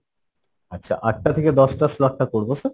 আচ্ছা আট টা থেকে দশ টা slot টা করবো sir?